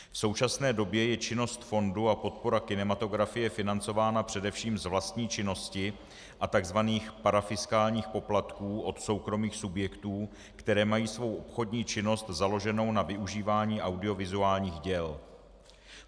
V současné době je činnost fondu a podpora kinematografie financována především z vlastní činnosti a tzv. parafiskálních poplatků od soukromých subjektů, které mají svou obchodní činnost založenu na využívání audiovizuálních děl.